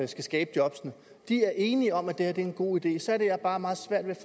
skal skabe jobbene er enige om at det her er en god idé så er det jeg bare har meget svært ved